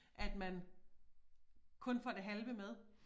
At man kun får det halve med